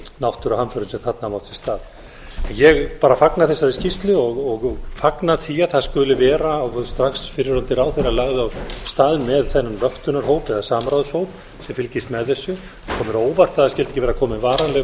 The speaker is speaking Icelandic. náttúruhamförum sem þarna hafa átt sér stað ég bara fagna þessari skýrslu og fagna því að það skuli vera strax fyrrverandi ráðherra lagði á stað með þennan vöktunarhóp eða samráðshóp sem fylgist með þessu það kom mér á óvart að skyldi ekki vera komin varanleg vöktun